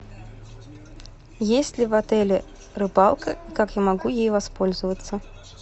есть ли в отеле рыбалка как я могу ей воспользоваться